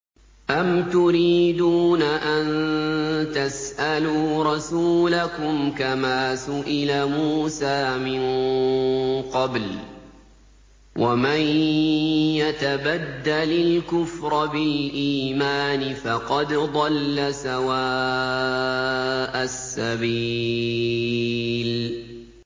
أَمْ تُرِيدُونَ أَن تَسْأَلُوا رَسُولَكُمْ كَمَا سُئِلَ مُوسَىٰ مِن قَبْلُ ۗ وَمَن يَتَبَدَّلِ الْكُفْرَ بِالْإِيمَانِ فَقَدْ ضَلَّ سَوَاءَ السَّبِيلِ